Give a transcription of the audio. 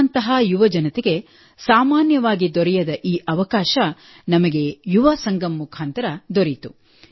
ನಮ್ಮಂತಹ ಯುವ ಜನತೆಗೆ ಸಾಮಾನ್ಯವಾಗಿ ದೊರೆಯದ ಈ ಅವಕಾಶ ನಮಗೆ ಯುವಾ ಸಂಗಮ್ ಮುಖಾಂತರ ದೊರೆಯಿತು